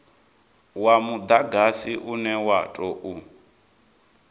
wa mudagasi une wa tou